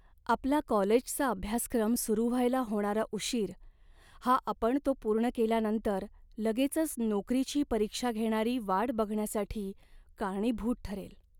आपला कॉलेजचा अभ्यासक्रम सुरू व्हायला होणारा उशीर हा आपण तो पूर्ण केल्यानंतर लगेचच नोकरीची परीक्षा घेणारी वाट बघण्यासाठी कारणीभूत ठरेल.